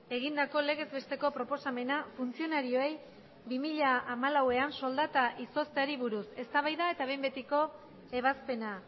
egindako legez besteko proposamena funtzionarioei bi mila hamalauan soldata izozteari buruz eztabaida eta behin betiko ebazpena